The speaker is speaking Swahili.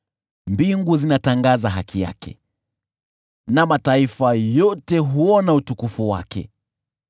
Mbingu zinatangaza haki yake, na mataifa yote huona utukufu wake.